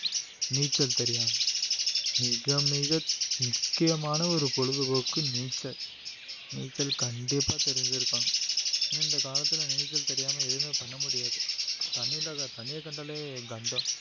நீச்சல் தெரியாம மிக மிக முக்கியமான ஒரு பொழுதுபோக்கு நீச்சல் நீச்சல் கண்டிப்பா தெரிஞ்சிருக்கணும் இந்த காலத்துல நீச்சல் தெரியாம எதுவுமே பண்ண முடியாது தண்ணி இல்லாத தண்ணியை கண்டாலே கண்டம்